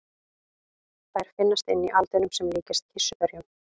Þær finnast inni í aldinum sem líkjast kirsuberjum.